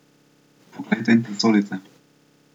Poglejte in presodite!